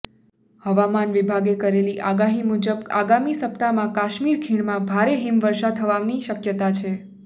હવામાન વિભાગે કરેલી આગાહી મુજબ આગામી સપ્તાહમાં કાશ્મીર ખીણમાં ભારે હિમવર્ષા થવાની શક્યતા છે